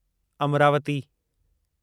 Amravati